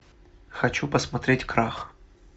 хочу посмотреть крах